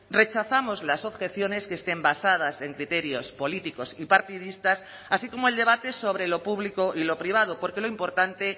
rechazamos las objeciones que estén basadas en criterios políticos y partidistas así como el debate sobre lo público y lo privado porque lo importante